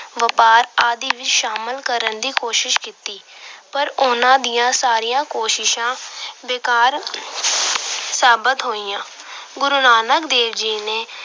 ਵਪਾਰ ਆਦਿ ਵਿੱਚ ਸ਼ਾਮਲ ਕਰਨ ਦੀ ਕੋਸ਼ਿਸ਼ ਕੀਤੀ। ਪਰ ਉਹਨਾਂ ਦੀਆਂ ਸਾਰੀਆਂ ਕੋਸ਼ਿਸ਼ਾਂ ਬੇਕਾਰ ਸਾਬਤ ਹੋਇਆ। ਗੁਰੂ ਨਾਨਕ ਦੇਵ ਜੀ ਨੇ